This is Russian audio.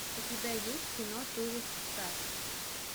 у тебя есть кино туристас